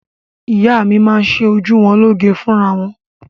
Ìyá mi máa ń ṣe ojú wọn lóge fúnra wọn.